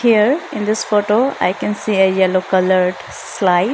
here in this photo i can see a yellow coloured slide.